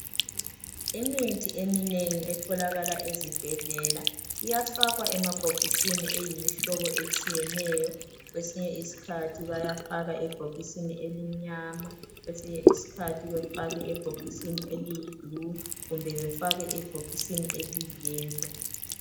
Imithi eminengi etholakala ezibhedlela iyafakwa emabhokisini eyimihlobo etshiyeneyo kwesinye isikhathi bayafaka ebhokisi elimnyama kwesinye isikhathi bayafaka ebhokisi eliyibhulu kumbe befake ebhokisi eliyiyelo.